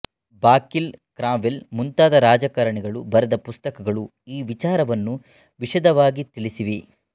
ಬಾಕಿರ್ಲ್ Cromwell ಮುಂತಾದ ರಾಜಕಾರಣಿಗಳು ಬರೆದ ಪುಸ್ತಕಗಳು ಈ ವಿಚಾರವನ್ನು ವಿಶದವಾಗಿ ತಿಳಿಸಿವೆ